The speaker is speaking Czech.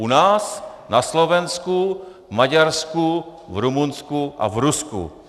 U nás, na Slovensku, v Maďarsku, v Rumunsku a v Rusku.